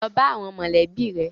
Lọ bá àwọn mọ̀lẹ́bí rẹ.